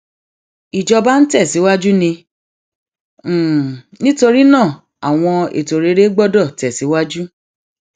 ìjọba ń tẹsíwájú ni nítorí náà àwọn ètò rere gbọdọ tẹsíwájú